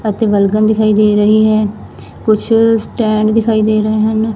ਅਤੇ ਵਲਗਣ ਦਿਖਾਈ ਦੇ ਰਹੀ ਹੈ ਕੁਛ ਸਟੈਂਡ ਦਿਖਾਈ ਦੇ ਰਹੇ ਹਨ।